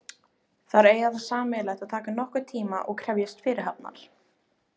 Þær eiga það sameiginlegt að taka nokkurn tíma og krefjast fyrirhafnar.